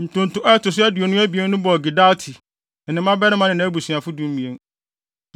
Ntonto a ɛto so aduonu abien no bɔɔ Gidalti, ne ne mmabarima ne nʼabusuafo (12)